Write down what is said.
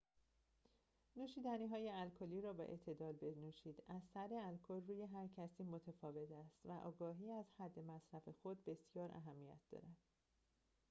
نوشیدنی‌های الکلی را با اعتدال بنوشید اثر الکل روی هرکسی متفاوت است و آگاهی از حد مصرف خود بسیار اهمیت دارد